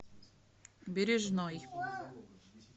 бережной